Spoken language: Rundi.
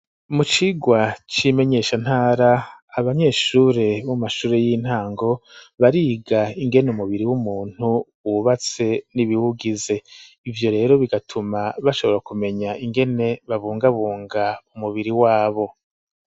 Mu cigwa c'imenyeshantara, abanyeshure bo mu mashure y'intango, bariga ingene umubiri w'umuntu wubatse n'ibiwugize, ivyo rero bigatuma, bashobora kumenya ingene babungabunga umubiri wabo.